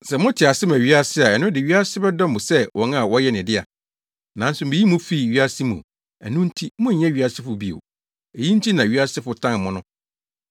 Sɛ mote ase ma wiase a ɛno de wiase bɛdɔ mo sɛ wɔn a wɔyɛ ne dea. Nanso miyii mo fii wiasefo mu; ɛno nti monyɛ wiasefo bio; eyi nti na wiasefo tan mo no.